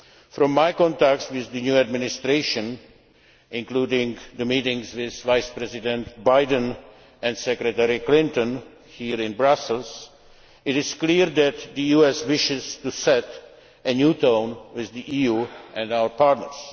From my contacts with the new Administration, including the meetings with Vice President Biden and Secretary of State Clinton here in Brussels, it is clear that the US wishes to set a new tone with the EU and our partners.